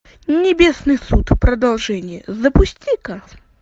небесный суд продолжение запусти ка